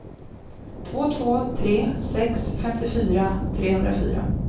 två två tre sex femtiofyra trehundrafyra